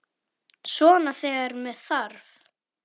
Svona þegar með þarf.